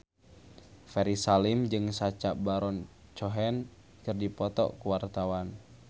Ferry Salim jeung Sacha Baron Cohen keur dipoto ku wartawan